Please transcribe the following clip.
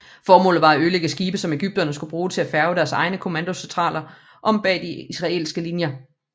Formålet var at ødelægge skibe som egypterne skulle bruge til at færge deres egne kommandosoldater om bag de israelske linjer